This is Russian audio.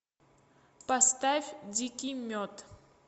поставь дикий мед